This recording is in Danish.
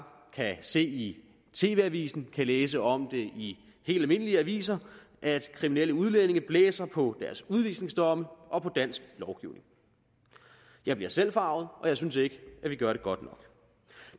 kan se det i tv avisen kan læse om det i helt almindelige aviser altså at kriminelle udlændinge blæser på deres udvisningsdomme og på dansk lovgivning jeg bliver selv forarget og jeg synes ikke vi gør det godt nok